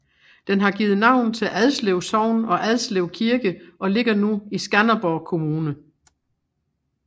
Den har givet navn til Adslev Sogn og Adslev Kirke og ligger nu i Skanderborg Kommune